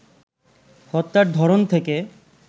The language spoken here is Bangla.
হত্যার ধরন থেকে